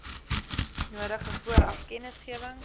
nodige vooraf kennisgewing